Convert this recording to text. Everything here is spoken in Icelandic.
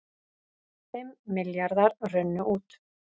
Fimm milljarðar runnu út